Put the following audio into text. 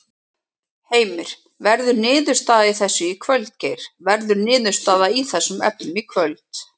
Heimir: Verður niðurstaða í þessu í kvöld Geir, verður niðurstaða í þessum efnum í kvöld?